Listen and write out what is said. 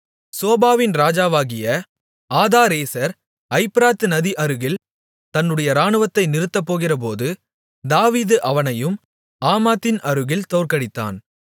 சோபாவின் ராஜாவாகிய ஆதாரேசர் ஐப்பிராத் நதி அருகில் தன்னுடைய இராணுவத்தை நிறுத்தப்போகிறபோது தாவீது அவனையும் ஆமாத்தின் அருகில் தோற்கடித்தான்